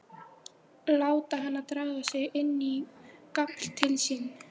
Láta hana draga sig inn á gafl til sín.